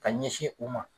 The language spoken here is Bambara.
Ka ɲɛsin u ma